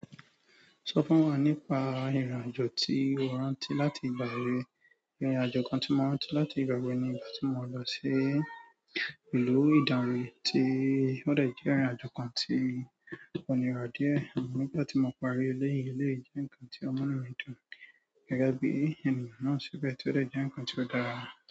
Sọ fún wa nípa ìrìn-àjò tí o rántí láti ìgbà èwe. Ìrìn-àjò kan tí mo rántí láti ìgbà èwe ni ìgbà tí mo lọ sí ìlú Ìdàǹrè, tí ó dẹ̀ jẹ́ ìrìn-àjò kan tí kò nira díẹ̀. Àmọ́ nígbà tí mo parí eléyìí eléyìí jẹ́ nǹkan tí ó múnú mi dùn, gẹ́gẹ́ bí ènìyàn náà ṣẹ̀ bẹ́ẹ̀ tí ó dà jẹ́un kan tí ó dára.